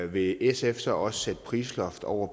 vil sf så også sætte prisloft over